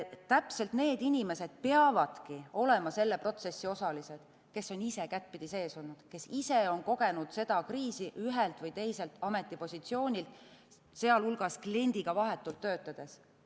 Täpselt need inimesed peavadki olema selle protsessi osalised, kes on ise kättpidi sees olnud, kes ise on kogenud seda kriisi ühelt või teiselt ametipositsioonilt, sealhulgas kliendiga vahetult töötades.